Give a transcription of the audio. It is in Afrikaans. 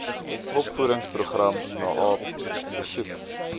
opvoedingsprogram naep besoek